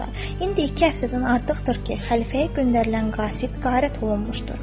İndi iki həftədən artıqdır ki, xəlifəyə göndərilən qasid qayib olmuşdur.